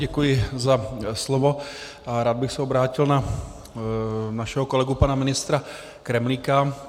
Děkuji za slovo a rád bych se obrátil na našeho kolegu pana ministra Kremlíka.